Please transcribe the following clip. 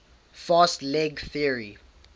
fast leg theory